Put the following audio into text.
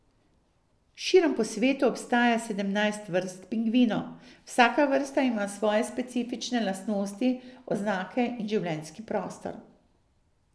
Širom po svetu obstaja sedemnajst vrst pingvinov, vsaka vrsta ima svoje specifične lastnosti, oznake in življenjski prostor.